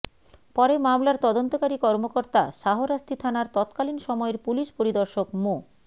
পরে মামলার তদন্তকারী কর্মকর্তা শাহরাস্তি থানার তৎকালীন সময়ের পুলিশ পরিদর্শক মো